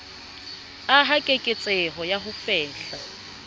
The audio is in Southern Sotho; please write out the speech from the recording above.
aha keketseho ya ho fehla